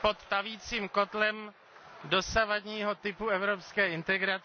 pod tavícím kotlem dosavadního typu evropské integrace,